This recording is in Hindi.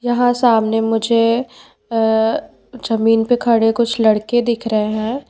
यहाँ सामने मुझे अ जमीन पे खड़े कुछ लड़के दिख रहे है।